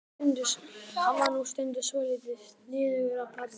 Hann var nú stundum svolítið sniðugur að plata mig.